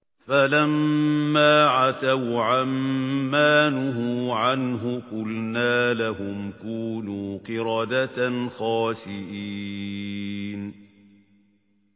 فَلَمَّا عَتَوْا عَن مَّا نُهُوا عَنْهُ قُلْنَا لَهُمْ كُونُوا قِرَدَةً خَاسِئِينَ